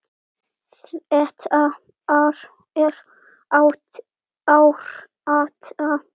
Þetta er árátta.